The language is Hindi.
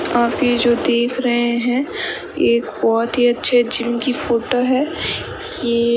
आप ये जो देख रहे हैं एक बहोत ही अच्छे जिम फोटो है ये--